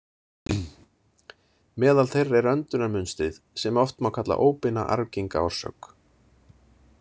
Meðal þeirra er öndunarmunstrið, sem oft má kalla óbeina arfgenga orsök.